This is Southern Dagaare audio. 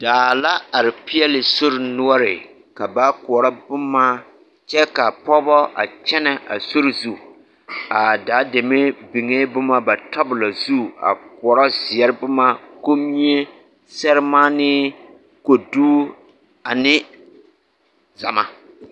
Daa la are peɛle sori noɔre ka ba koɔrɔ boma kyɛ ka pɔgebɔ a kyɛnɛ a sori zu, a daa deme biŋee boma ba tabolo zu a koɔrɔ zeɛre boma; Kommie, sɛremaanee, kodu ane zama.